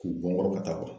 K'u bɔ kɔrɔ ka taa